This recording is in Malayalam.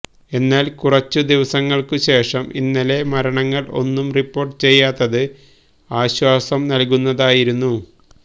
എന്നാൽ കുറച്ച് ദിവസങ്ങൾക്ക് ശേഷം ഇന്നലെ മരണങ്ങൾ ഒന്നും റിപ്പോർട്ട് ചെയ്യാത്തത് ആശ്വാസം നൽകുന്നതായിരുന്നു